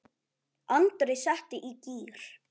Andri setti í gír.